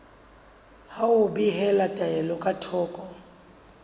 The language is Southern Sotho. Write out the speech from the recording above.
ho behela taelo ka thoko